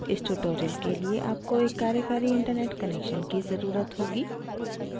इस tutorial के लिए आपको एक कार्यकारी internet connection की ज़रुरत होगी